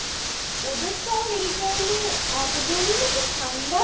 ওদের তো আবার এই time এ একদমই নাকি ঠাণ্ডা